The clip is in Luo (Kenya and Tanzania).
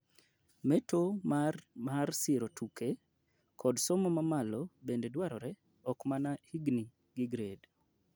meto mar siro tuke kod somo mamalo bende dwarore okmana higni gi grade